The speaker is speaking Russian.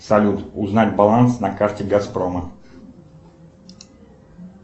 салют узнать баланс на карте газпрома